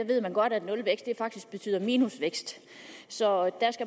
ved man godt at nulvækst faktisk betyder minusvækst så